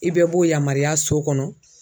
I bɛɛ b'o yamaruya so kɔnɔ